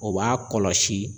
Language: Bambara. O b'a kɔlɔsi.